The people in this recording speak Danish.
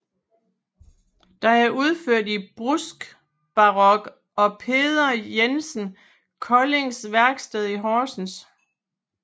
Den er udført i bruskbarok af Peder Jensen Koldings værksted i Horsens